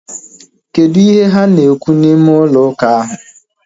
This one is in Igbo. Kedụ ihe ha na-ekwu n'ime ụlọ ụka ahu?